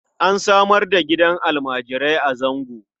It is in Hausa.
An samar da gidan almarai a Zango.